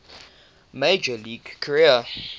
major league career